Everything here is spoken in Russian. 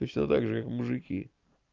точно так же как мужики